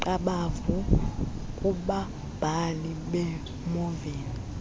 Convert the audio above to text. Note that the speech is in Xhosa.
qabavu kubabhali beenoveli